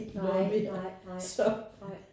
Nej nej nej ej